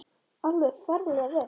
Alveg ferlega vel.